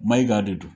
Maiga de don